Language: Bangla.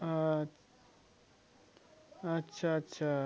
আচ্ছা আচ্ছা